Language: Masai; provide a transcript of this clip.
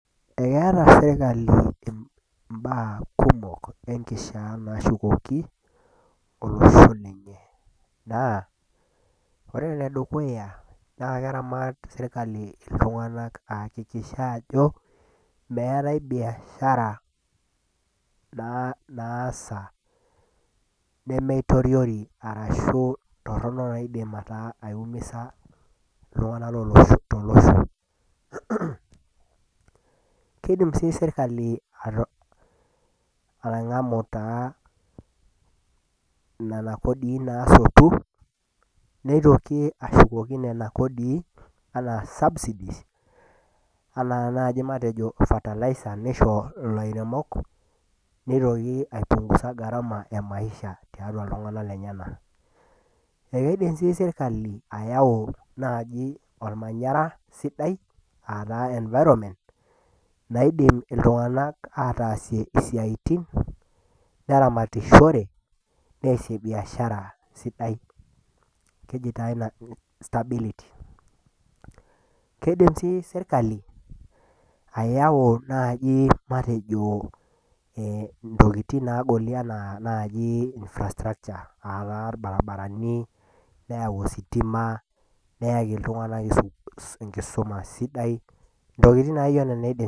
Ekeata serkali imbaa kumok enkishaa naashukoki olosek ninye, naa. Ore ene dukuya naa keramat serkali iltung'ana aakikisha ajo meatai bbiashara naa naasa nemeitoriori arashu torono naidim aumiza iltung'ana tolosho. Keidim sii serkali atang'amu taa nena kodii naasotu, neitoki ashukoki nena kodii, anaa subsidies, anaa naaji fertilizer neishoo ilairemok, neitoki aipung'uza gharama e maisha, tiatua iltung'ana lenyena. E keidim sii sirkali ayau naaji olmanyara sidai ataa environment, naidim iltung'ana aaatasie isiaitin, neramatishore, neasie biashara sidai. keji taa ina stability. Keidim sii serkali, ayau naaji matejo, inttokitin naaji naagoli anaa naaji infrastructure aa taa ilbarbarani, neyau ositima, neaki iltung'ana enkisuma sidai, ntokitin naijo nena einaye serkali.